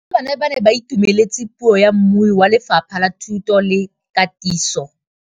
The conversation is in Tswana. Barutabana ba ne ba itumeletse puô ya mmui wa Lefapha la Thuto le Katiso.